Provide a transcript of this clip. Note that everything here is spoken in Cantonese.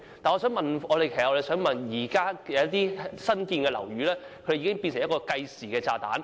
我的補充質詢是關於現在有些新落成的樓宇已經變成了計時炸彈。